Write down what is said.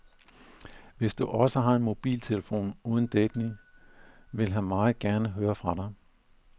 Hvis du også har en mobiltelefon uden dækning, vil han meget gerne høre fra dig.